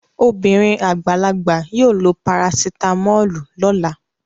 Obìnrin àgbàlagbà yóò lo parasitámọ́lù lọ́la